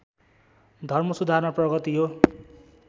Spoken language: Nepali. धर्मसुधारमा प्रगति हो